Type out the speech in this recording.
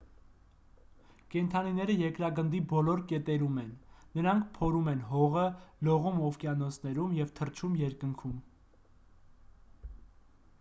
կենդանիները երկրագնդի բոլոր կետերում են նրանք փորում են հողը լողում օվկիանոսներում և թռչում երկնքում